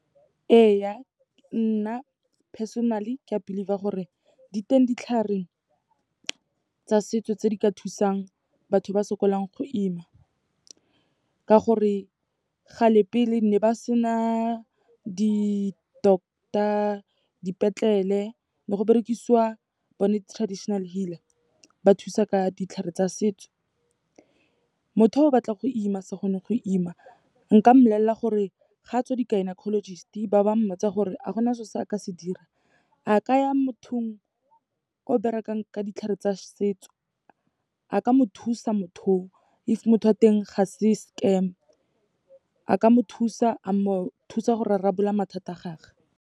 Ee, nna personally ke a believe-a gore di teng ditlhare tsa setso tse di ka thusang batho ba sokolang go ima. Ka gore, kgale pele, ne ba sena di-doctor, dipetlele, ne go berekisiwa bone di-traditional healer, ba thusa ka ditlhare tsa setso. Motho yo o batlang go ima se kgone go ima, nka mmolelela gore ga a tswa di-gynecologist-e ba ba mmotsa gore ha gona so se a ka se dira, a ka ya mothong o berekang ka ditlhare tsa setso. A ka mo thusa motho oo, if motho wa teng ga se scam, a ka mo thusa, a mo thusa go rarabolola mathata a gage.